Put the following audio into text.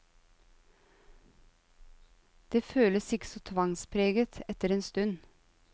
Det føles ikke så tvangspreget etter en stund.